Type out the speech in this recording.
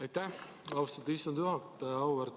Aitäh, austatud istungi juhataja!